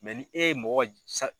ni e ye mɔgɔ